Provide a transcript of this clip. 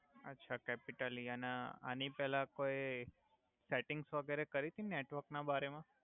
અછા capital E અને આની પેલા કોઈ સેટિંગ્સ વગેરે કરીતી નેટવર્ક ના બારે મા